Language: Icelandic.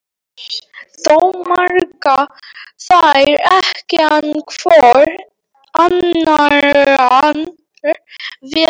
Þó mega þær ekki án hvor annarrar vera.